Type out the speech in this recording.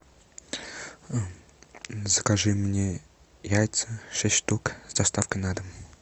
закажи мне яйца шесть штук с доставкой на дом